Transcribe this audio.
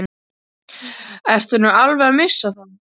Ertu nú alveg að missa það?